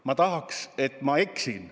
Ma tahaks, et ma eksin.